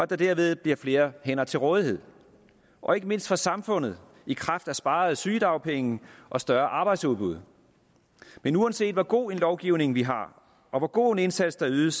der dermed bliver flere hænder til rådighed og ikke mindst for samfundet i kraft af sparede sygedagpenge og større arbejdsudbud men uanset hvor god en lovgivning vi har og hvor god en indsats der ydes